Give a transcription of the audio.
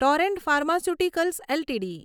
Torrent pharmaceuticals LTD